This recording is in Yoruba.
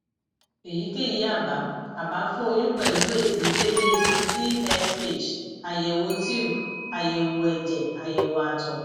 eyikeyi aba aba fun oyun pẹlu esi deede ti tsh ayewo tube ayewo ẹjẹ ayewo àtọ